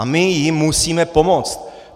A my jim musíme pomoct.